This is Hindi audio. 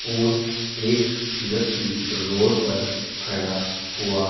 और एक व्यक्ति रोड पर खड़ा हुआ--